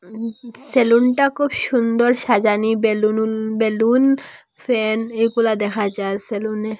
সেলুনটা খুব সুন্দর সাজানি বেলুনুন বেলুন ফ্যান এগুলো দেখা যায় সেলুনে।